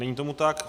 Není tomu tak.